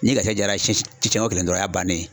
Ni garisɛgɛ jara siɲɛ ko kelen dɔrɔnw, o y'a bannen ye.